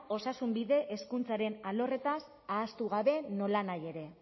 osasunbide hezkuntzaren alorrez ahaztu gabe nolanahi ere